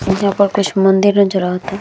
यहां पर कुछ मंदिर नज़र आवता।